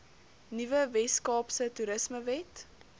nuwe weskaapse toerismewet